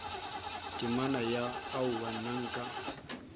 temana ya aowa nna nka